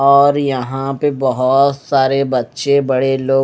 और यहां पे बहोत सारे बच्चे बड़े लोग--